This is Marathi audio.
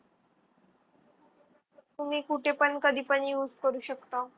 कुणी कुठेपण कधीपण use करू शकता.